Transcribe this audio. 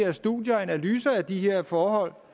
af studier og analyser af de her forhold